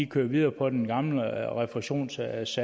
kører videre på den gamle refusionssats